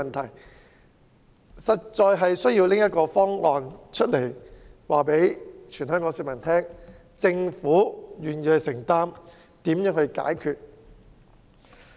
政府實在有需要拿出一個方案，告訴全港市民，政府願意承擔和解決問題。